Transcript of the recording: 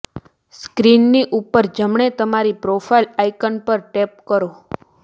સ્ક્રીનની ઉપર જમણે તમારી પ્રોફાઇલ આયકન પર ટેપ કરો